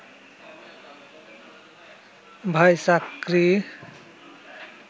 ভাই, চাকরি